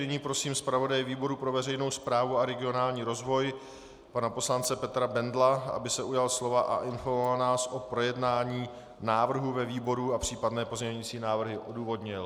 Nyní prosím zpravodaje výboru pro veřejnou správu a regionální rozvoj pana poslance Petra Bendla, aby se ujal slova a informoval nás o projednání návrhu ve výboru a případné pozměňovací návrhy odůvodnil.